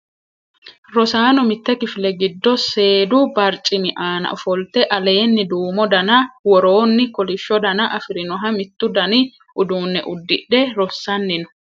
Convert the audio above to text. Rosaano mitte kifile giddo seedu barcimi aana ofolte, aleenni duumo dana woroonni kolishsho dana afirinoha mittu dani uduunne uddidhe rossanni no.